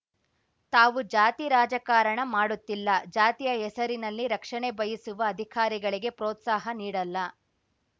ತಾವು ಜಾತಿ ರಾಜಕಾರಣ ಮಾಡುತ್ತಿಲ್ಲ ಜಾತಿಯ ಹೆಸರಿನಲ್ಲಿ ರಕ್ಷಣೆ ಬಯಸುವ ಅಧಿಕಾರಿಗಳಿಗೆ ಪ್ರೋತ್ಸಾಹ ನೀಡಲ್ಲ